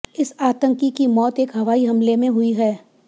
इस आतंकी की मौत एक हवाई हमले में हुई है